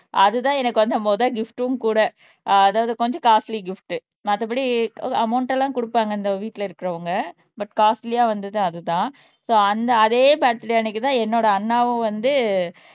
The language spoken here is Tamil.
அதுதான் எனக்கு வந்து முதல் கிஃப்டும் கூட அஹ் அதாவது கொஞ்சம் காஸ்ட்லி கிஃப்ட் மத்தபடி அமௌண்ட் எல்லாம் குடுப்பாங்க இந்த வீட்டுல இருக்கிறவங்க பட் காஸ்ட்லியா வந்தது அதுதான் சோ அந்த அதே பர்த்டே அன்னைக்குதான் என்னோட அண்ணாவும் வந்து